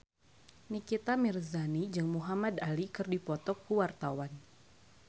Nikita Mirzani jeung Muhamad Ali keur dipoto ku wartawan